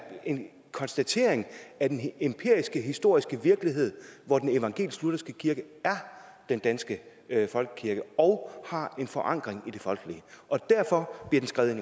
en konstatering af den empiriske historiske virkelighed hvor den evangelisk lutherske kirke er den danske folkekirke og har en forankring i det folkelige og derfor blev den skrevet